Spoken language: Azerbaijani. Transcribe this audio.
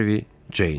Harvi Ceyn.